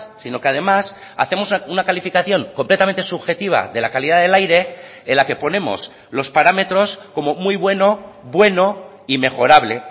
sino que además hacemos una calificación completamente subjetiva de la calidad del aire en la que ponemos los parámetros como muy bueno bueno y mejorable